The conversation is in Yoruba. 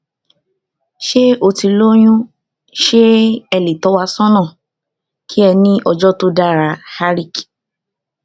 ṣe o ti loyun ṣe e le tọ́ wa sọ́nà ki e ni ojo to dara harik